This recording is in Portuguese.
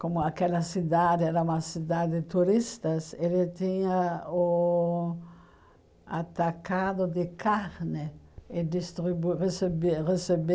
Como aquela cidade era uma cidade turistas, ele tinha o atacado de carne e distribu recebe